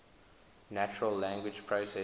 natural language processing